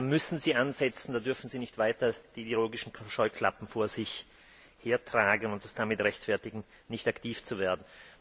Da müssen Sie ansetzen, da dürfen Sie nicht weiter die ideologischen Scheuklappen vor sich hertragen und damit rechtfertigen, nicht aktiv zu werden.